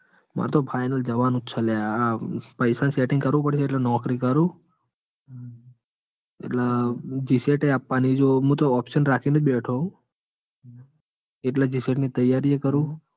માર તો final જવાનું હ લ્યા પૈસા નું setting કરવું પડશે એટલે નોકરી કરું. એટલે જીસેટ એ આપવાની છે મુતો option રાખીં જ બેઠો હું એટલે જીસેટ ની તૈયારી એ કરું.